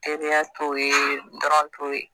Teriya t'o ye t'o ye